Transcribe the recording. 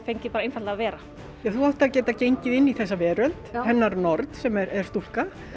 fengið bara einfaldlega að vera þú átt að geta gengið inn í þessa veröld hennar nord sem er stúlka